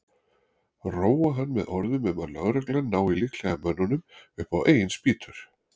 Róa hann með orðum um að lögreglan nái líklega mönnunum upp á eigin spýtur.